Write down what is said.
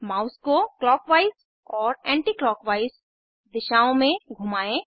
mouse को clock wise और anti clock wise दिशाओं में घुमाएं